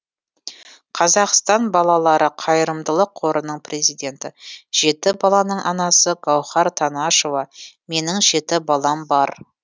қазақстан балалары қайырымдылық қорының президенті жеті баланың анасы гаухар танашева менің жеті балам бар